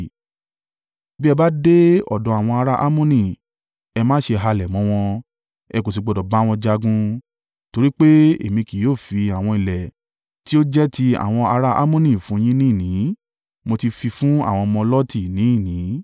Bí ẹ bá dé ọ̀dọ̀ àwọn ará Ammoni, ẹ má ṣe halẹ̀ mọ́ wọn, ẹ kò sì gbọdọ̀ bá wọn jagun, torí pé èmi kì yóò fi àwọn ilẹ̀ tí ó jẹ́ ti àwọn ará Ammoni fún un yín ní ìní. Mo ti fi fún àwọn ọmọ Lọti ní ìní.”